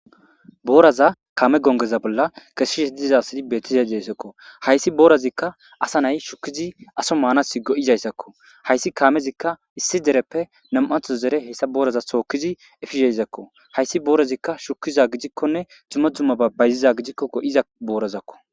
booraza kaame gongeza bolla keshishe dizasidi bettiza desakko hayssi boorazikka asa nay shukkizi aso maanas go7izayssakko hayssi kaamezikka issi dereppe nam7atho zere heyssa booraza sookizi efiheysakko hayssi boorazikka shukiza gidikkonne jimo dzumma babayziza gidikko go7iza boorazakko